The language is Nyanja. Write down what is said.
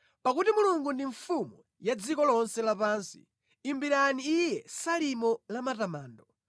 Pakuti Mulungu ndi mfumu ya dziko lonse lapansi; imbirani Iye salimo la matamando.